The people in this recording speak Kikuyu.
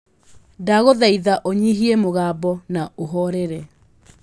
ndagũthaitha ũnyihie mũgambo na ũhorere